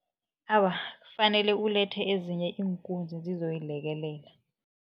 Awa, kufanele ulethe ezinye iinkunzi zizoyilekelela.